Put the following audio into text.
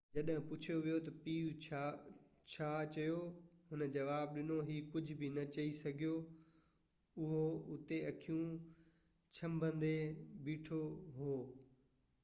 جڏهن پڇيو ويو تہ پيءُ ڇا چيو هن جواب ڏنو هي ڪجهہ بہ نہ چئي سگهيو اهو هتي اکيون ڇنڀڻيدي بيٺو هو